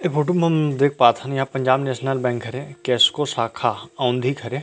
ए photo मे हम देख पाथन यहाँ पंजाब_नेशनल_बैंक हरे केस्को शाखा औंधी के हरे।